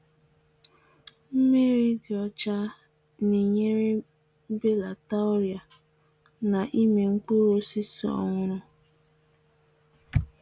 Mmiri dị ọcha Na-ebelata okoro nke ibunye iheubi ka na-etolite etolite ọrịa.